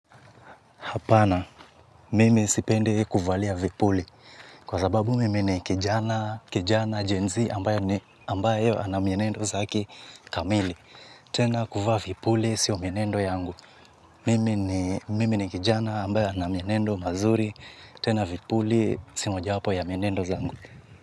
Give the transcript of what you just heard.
Hapana, mimi sipendi kuvalia vipuli, kwa sababu mimi ni kijana, kijana Gen z ambayo ana ambayo ana mienendo zake kamili. Tena kuvaa vipuli sio mienendo yangu mimi ni. Mimi ni kijana ambaye ana mienendo mazuri, tena vipuli si moja wapo ya mienendo zangu.